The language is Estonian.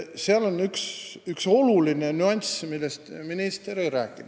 Seal on üks oluline nüanss, millest minister ei rääkinud.